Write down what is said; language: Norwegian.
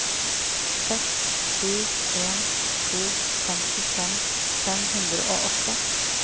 seks sju en to femtifem fem hundre og åtte